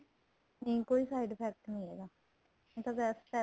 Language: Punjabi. ਨਹੀਂ ਕੋਈ side effect ਨਹੀਂ ਇਹਦਾ ਇਹ ਤਾਂ best ਏ